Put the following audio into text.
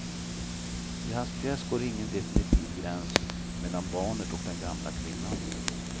I hans pjäs går ingen definitiv gräns mellan barnet och den gamla kvinnan.